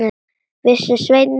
Vissi Svenni ekki?